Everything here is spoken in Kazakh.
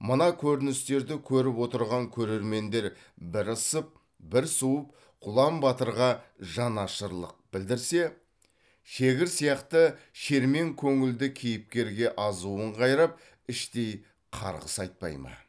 мына көріністерді көріп отырған көрермендер бір ысып бір суып құлан батырға жанашырлық білдірсе шегір сияқты шермен көңілді кейіпкерге азуын қайрап іштей қарғыс айтпай ма